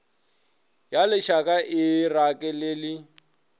ya lešaka e e rakelele